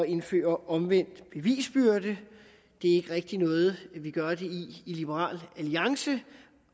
indføre omvendt bevisbyrde det er ikke rigtig noget vi gør det i i liberal alliance